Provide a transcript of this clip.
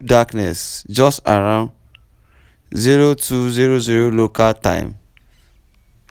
darkness just around zero two zero zero local time